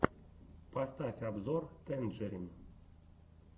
поставь обзор тэнджерин